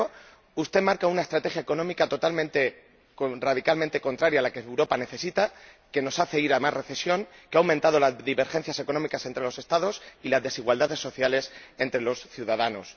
En primer lugar, usted marca una estrategia económica radicalmente contraria a la que Europa necesita, que nos hace ir a más recesión, que ha aumentado las divergencias económicas entre los Estados y las desigualdades sociales entre los ciudadanos.